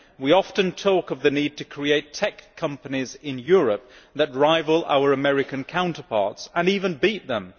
We often talk of the need to create tech companies in Europe that rival our American counterparts and even beat them.